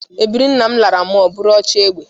Ebiri nna m lara mụọ bụrụ ochiegbe